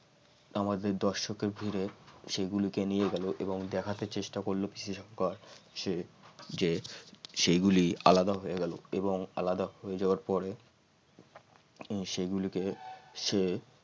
আমাদের দর্শকের ভিড়ে সেগুলোকে নিয়ে গেল এবং দেখাতে চেষ্টা করলো পিসি সরকার সে যে সেগুলি আলাদা আলাদা হয়ে গেল এবং আলাদা হয়ে যাওয়ার পরে সেগুলিকে সে